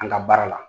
An ka baara la